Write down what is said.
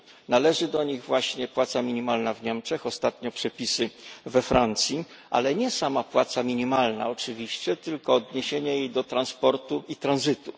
Należy do nich właśnie płaca minimalna w Niemczech, ostatnio przepisy we Francji, ale nie sama płaca minimalna oczywiście, tylko odniesienie jej do transportu i tranzytu.